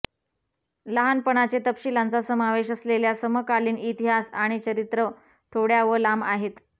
लहानपणाचे तपशीलांचा समावेश असलेल्या समकालीन इतिहास आणि चरित्रं थोड्या व लांब आहेत